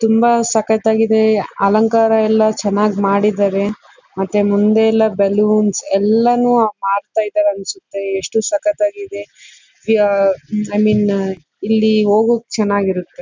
ತುಂಬ ಸಕ್ಕತಾಗಿದೆ ಅಲಂಕಾರ ಎಲ್ಲ ಚೆನ್ನಾಗ್ ಮಾಡಿದರೆ ಮತ್ತೆ ಮುಂದೆ ಎಲ್ಲ ಬಲೂನ್ಸ್ ಎಲ್ಲಾನು ಹಾಕ್ತಾ ಇದ್ದಾರೆ ಅನ್ಸುತ್ತೆ ಎಷ್ಟು ಸಕ್ಕತಾಗಿದೆ ಮತ್ತೆ ಇಲ್ಲಿ ಹೋಗೋಕೆ ಚೆನ್ನಾಗ್ ಇರುತ್ತೆ.